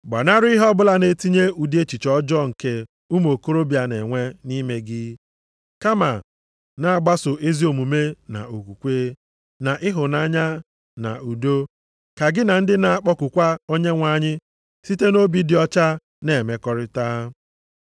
Gbanarị ihe ọbụla na-etinye ụdị echiche ọjọọ nke ụmụ okorobịa na-enwe nʼime gị, kama, na-agbaso ezi omume na okwukwe, na ịhụnanya na udo, ka gị na ndị na-akpọkukwa Onyenwe anyị site nʼobi dị ọcha na-emekọrịta.